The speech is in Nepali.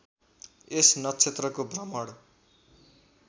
यस नक्षत्रको भ्रमण